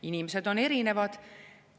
Inimesed on erinevad.